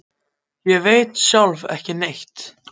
Ég veit sjálf ekki neitt.